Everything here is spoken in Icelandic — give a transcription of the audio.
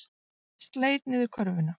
Sleit niður körfuna